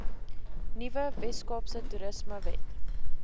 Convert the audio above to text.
nuwe weskaapse toerismewet